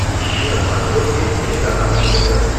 ищи на смотрешке телеканал его тв